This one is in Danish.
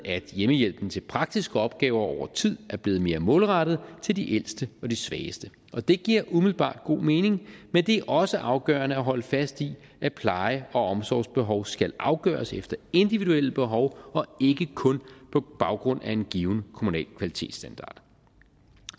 at hjemmehjælpen til praktiske opgaver over tid er blevet mere målrettet til de ældste og de svageste og det giver umiddelbart god mening men det er også afgørende at holde fast i at pleje og omsorgsbehov skal afgøres efter individuelle behov og ikke kun på baggrund af en given kommunal kvalitetsstandard